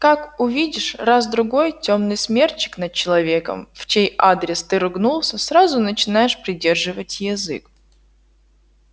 как увидишь раз-другой тёмный смерчик над человеком в чей адрес ты ругнулся сразу начинаешь придерживать язык